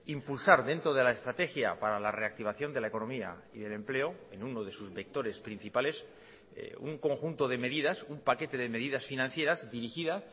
impulsar dentro de la estrategia para la reactivación de la economía y el empleo en uno de sus vectores principales un conjunto de medidas un paquete de medidas financieras dirigida